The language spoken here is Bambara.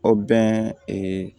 O bɛn